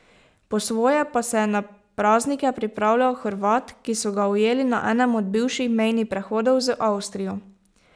Po svoje pa se je na praznike pripravljal Hrvat, ki so ga ujeli na enem od bivših mejnih prehodov z Avstrijo.